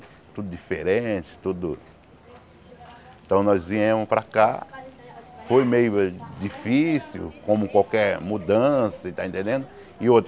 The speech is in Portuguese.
Tudo diferente, tudo... Então nós viemos para cá, foi meio eh difícil, como qualquer mudança e está entendendo?